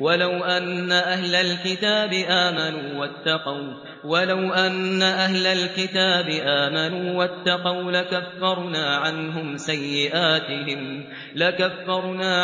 وَلَوْ أَنَّ أَهْلَ الْكِتَابِ آمَنُوا وَاتَّقَوْا لَكَفَّرْنَا